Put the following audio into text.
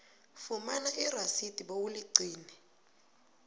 fumana irasidi bewuligcine